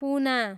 पुना